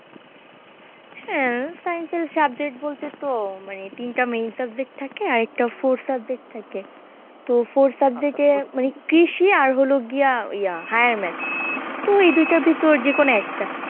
হ্যাঁ science এর subject বলতে তো মানে তিনটা main subject থাকে আর একটা forth subject থাকে তো forth subject কে মানে কৃষি আর হলো গিয়া ইয়া higher math তো এই দুইটার ভিতর যেকোনো একটা